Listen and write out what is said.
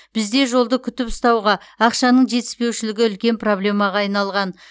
бізде жолды күтіп ұстауға ақшаның жетіспеушілігі үлкен проблемаға айналған